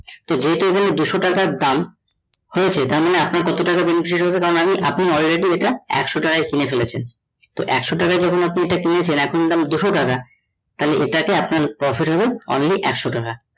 তো যেহুতো এখানে দুশ টাকা দাম হয়েছে তার মানে আপনার কত টাকা benefited হয়েছে আপনি already এটা একশ টাকায় কিনে ফেলেছেন তো একশ টাকা যখন এটা কিনেছেন এখন দাম দুশ টাকা তাহলে এটাতে আপনার profit হবে only একশ টাকা